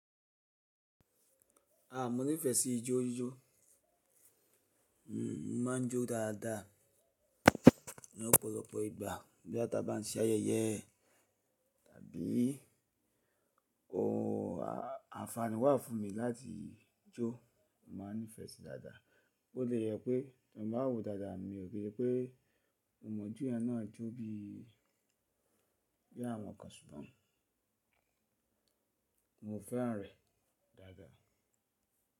Ah, mo nífẹ̀ẹ́ sí ijó jij. Hhn, mo máa ń jó dáadáa lọ́pọ̀lọpọ̀ ìgbà bí a bá ti ń ṣe ayẹyẹ tàbí ohun, a-àǹfààní wà fún mi láti jó. Mo máa nífẹ̀ẹ́ rẹ̀ dáadáa. Bo tie jẹ pé tí mo bá wòó dáadáa mi ò lè ki i se pé mo mo jo yen náà jó bí i àwọn kan ṣùgbọ́n mo fẹ́ràn rẹ̀ dáadáa.